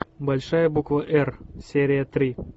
большая буква р серия три